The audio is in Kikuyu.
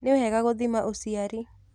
Nĩwega gũthima uciari.